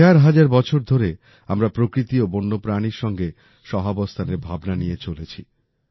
হাজার হাজার বছর ধরে আমরা প্রকৃতি ও বন্যপ্রাণীর সাথে সহাবস্থানের ভাবনা নিয়ে চলেছি